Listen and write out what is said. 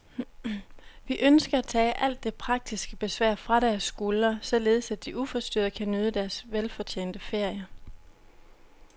Vi ønsker at tage alt det praktiske besvær fra deres skuldre, således at de uforstyrret kan nyde deres velfortjente ferie.